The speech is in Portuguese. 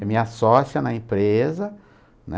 É minha sócia na empresa, né?